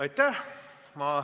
Istungi lõpp kell 13.58.